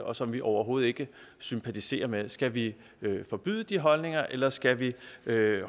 og som vi overhovedet ikke sympatiserer med skal vi forbyde de holdninger eller skal vi